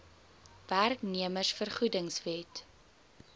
werknemers vergoedings wet